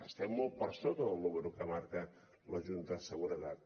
estem molt per sota del número que marca la junta de seguretat